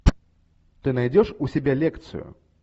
ты найдешь у себя лекцию